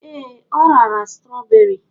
Ee, o rara strawberry.